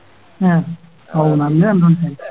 A ഔ നല്ല ആയി